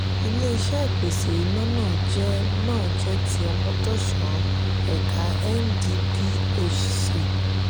ilé-iṣé ìpèsè iná náà jẹ náà jẹ ti omotosho ẹ̀ka ndphc